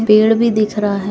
पेड़ भी दिख रहा है।